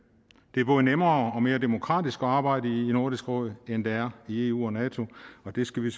det er både nemmere og mere demokratisk at arbejde i nordisk råd end det er i eu og nato og det skal vi